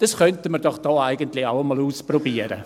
Das könnten wir hier doch auch einmal ausprobieren!